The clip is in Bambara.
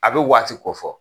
A bɛ waati kɔfɔ.